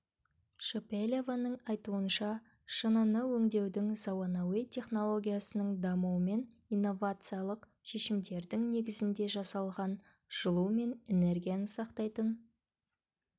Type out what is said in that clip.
шепелеваның айтуынша шыныны өңдеудің заманауи технологиясының дамуымен инновациялық шешімдердің негізінде жасалған жылу мен знергияны сақтайтын